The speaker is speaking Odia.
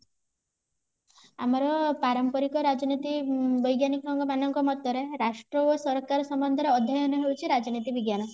ଆମର ପାରମ୍ପରିକ ରାଜନୀତି ବୈଜ୍ଞାନିକ ଙ୍କ ମାନଙ୍କ ମତରେ ରାଷ୍ଟ୍ର ଓ ସରକାର ସମ୍ବନ୍ଧ ରେ ଅଧ୍ୟୟନ ହେଉଚି ରାଜନୀତି ବିଜ୍ଞାନ